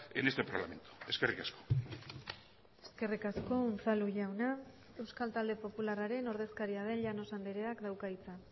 en este parlamento eskerrik asko eskerrik asko unzalu jauna euskal talde popularraren ordezkaria den llanos andreak dauka hitza